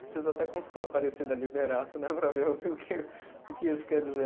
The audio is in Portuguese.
Preciso até consultar a Aparecida Liberato, né, para ver o que, o que isso quer dizer.